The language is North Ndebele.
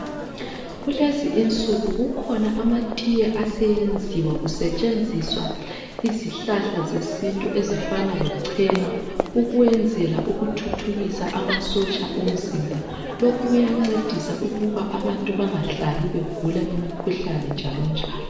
Kulezi insuku kukhona amatiye aseyenziwa kusetshenziswa izihlahla zesintu ezifana lechena ukuyenzela ukuthuthukisa amasotsha omzimba lokhu kuyancedisa ukuba abantu bengahlali begula imikhuhlane njalo njalo.